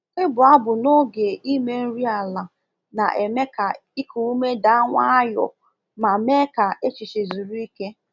Ịbụ abụ n’oge ime nri ala na-eme ka iku ume daa nwayọ ma mee ka echiche zuru ike.